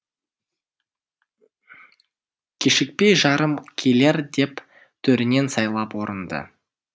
кешікпей жарым келер деп төрінен сайлап орынды